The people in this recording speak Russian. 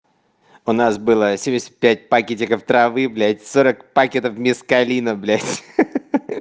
у нас было семьдесят пять пакетиков травы блядь сорок пакетов мескалина блядь ха-ха